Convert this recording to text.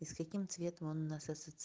и с каким цветом он у нас ассоци